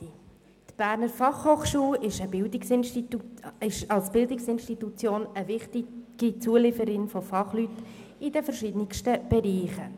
Die BFH ist als Bildungsinstitution eine wichtige Lieferantin von Fachleuten für unterschiedliche Bereiche.